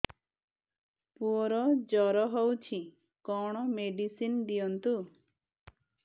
ପୁଅର ଜର ହଉଛି କଣ ମେଡିସିନ ଦିଅନ୍ତୁ